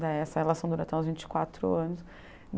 Daí essa relação durou até uns vinte quatro anos.